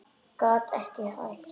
Gat ekki hætt.